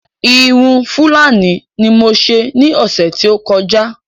Irun Fúlàní ní mo ṣe ní ọ̀sè tí o kọjá